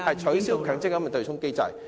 取消強積金對沖機制。